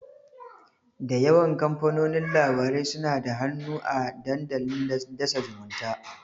Da yawan kamfanonin labarai suna da hannu a dandalin dasa zumunta.